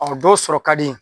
O dɔw sɔrɔ ka di